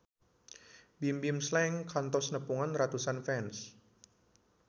Bimbim Slank kantos nepungan ratusan fans